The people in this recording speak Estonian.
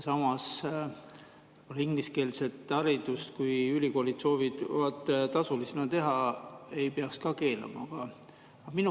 Samas, kui ülikoolid soovivad ingliskeelset haridust tasulisena anda, ei peaks seda keelama.